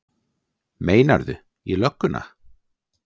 Meinarðu. í lögguna?